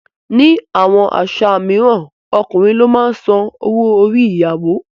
Ní àwọn àṣà mìíràn, Ọkùnrin ló máa ń san owó orí ìyàwó.